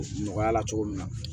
Nɔgɔya la cogo min na